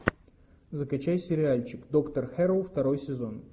закачай сериальчик доктор хэрроу второй сезон